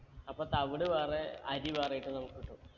അപ്പൊ തവിട് വേറെ അരി വേറെ ആയിട്ട് നമ്മുക്ക് കിട്ടും